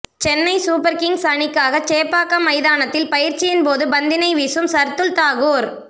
Chennai super kings அணிக்காக சேப்பாக்கம் மைதானத்தில் பயிற்சியின் போது பந்தினை வீசும் சர்துல் தாகூர்